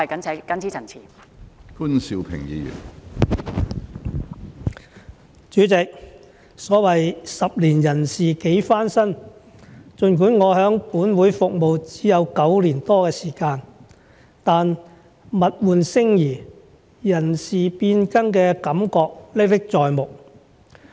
主席，所謂十年人事幾番新，儘管我在本會服務只有9年多的時間，但物換星移，人事變更的感覺歷歷在目。